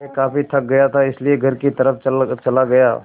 मैं काफ़ी थक गया था इसलिए घर की तरफ़ चला गया